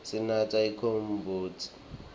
sinatsa umcombotsi